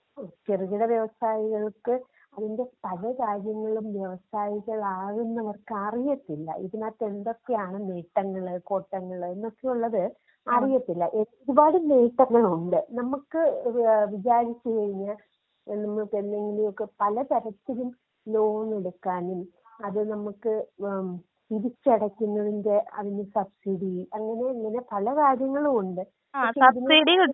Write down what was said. ചെറുകിട വ്യവസായികൾക്ക് അതിന്റെ പല കാര്യങ്ങളും വ്യവസായികൾ ആവുന്നവർക്ക് അറിയത്തില്ല, ഇതിനകത്ത് എന്തൊക്കെയാണ് നേട്ടങ്ങള് കോട്ടങ്ങള് എന്നൊക്കെയുള്ളത് അറിയത്തില്ല. ഒരുപാട് നേട്ടങ്ങളുണ്ട് നമ്മക്ക് ഏഹ് വിചാരിച്ചു കഴിഞ്ഞാ നമ്മക്കെന്തെങ്കിലുമൊക്കെ പല തരത്തിലും ലോൺ എടുക്കാനും അത് നമ്മക്ക് ഏഹ് തിരിച്ച് അടക്കുന്നതിന്റെ അതിന്റെ സബ് സീടീ അങ്ങനെ പല കാര്യങ്ങളുമുണ്ട്. പക്ഷെ ഇതിന്.